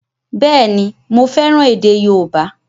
Bẹ́ẹ̀ni, mo fẹ́ràn èdè yóòbá